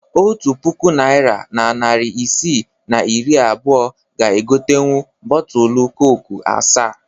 Otu puku naịra na narị isii na iri abụọ ga egotenwu bọọtulu koku asaa